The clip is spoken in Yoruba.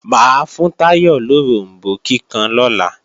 Mà á fún Táyọ̀ loròmbó kíkan lọ́la